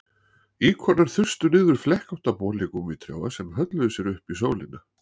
Íkornar þustu niður flekkótta boli gúmmítrjáa sem hölluðu sér upp í sólina